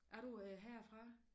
Er du herfra